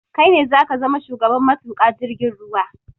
Kai ne zaka zama shugaban matuƙa jirgin ruwa